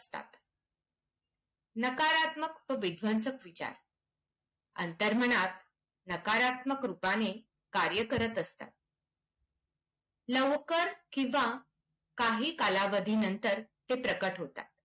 नकारात्मक विध्वंसक विचार. अंतर्मनात नकारात्मक रूपाने कार्यकरत असतात. लवकर किंवा काही कालावधींनंतर ते प्रकट होतात.